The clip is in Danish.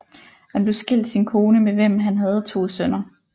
Han blev skilt sin kone med hvem han havde to sønner